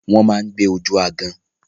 Wọ́n ma ń gbé ojú aágan.